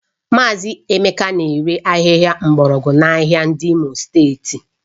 Mazị Emeka na-ere ahịhịa mgbọrọgwụ a n'ahịa dị n'Imo steeti